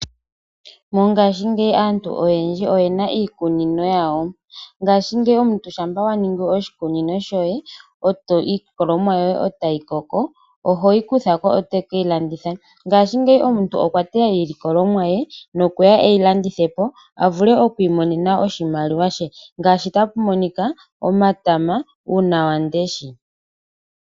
Mongaashi ngeyi aantu oyendji oyena iikunino yawo, ngashi ngeyi ngele owa kunu iilikolomwa yoye etayi koko, ohoyi kuthako etokeilanditha wiimonene oshimaliwa shoye, yimwe yomiilandithomwa oyo omatama, nuunawamundesha.